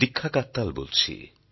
দীক্ষা কাত্যাল বলছি